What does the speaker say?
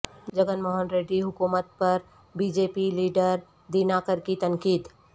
جگن موہن ریڈی حکومت پر B J P leader Dinakar کی تنقید